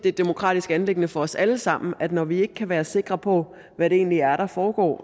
et demokratisk anliggende for os alle sammen når vi ikke kan være sikre på hvad det egentlig er der foregår